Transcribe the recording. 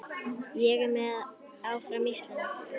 Ég er með, áfram Ísland.